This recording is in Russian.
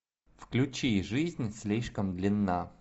включи жизнь слишком длинна